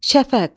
Şəfəq.